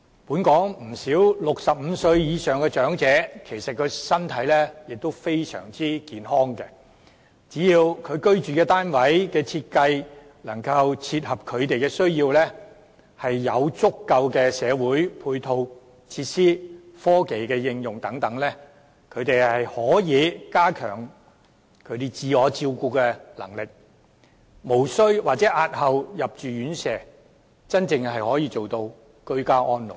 本港不少65歲以上的長者，身體仍然非常健康，只要居住單位設計能夠切合他們的需要，提供足夠的社區配套和科技應用等，便可加強他們的自我照顧能力，無須入住院舍或可押後入住，真正做到居家安老。